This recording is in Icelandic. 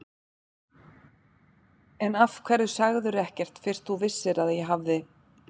En af hverju sagðirðu ekkert fyrst þú vissir að ég hafði.